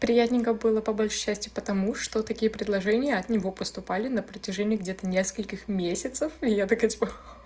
приятненько было по большей части потому что такие предложения от него поступали на протяжении где-то нескольких месяцев и я такая типа